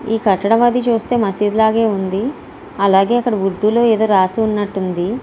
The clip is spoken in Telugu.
ఈ కట్టడం అది చూస్తుంటే మసీదు లాగే ఉంది అలాగే అక్కడ ఉర్దూ లో ఎదో రాసినట్టు ఉంది.